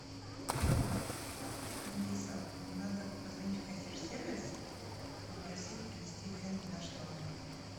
алиса надо позвонить в консьерж сервис и попросить принести фен в наш номер